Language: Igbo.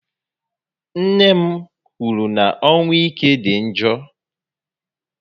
Nne m kwụrụ na ọnwụ ike dị njọ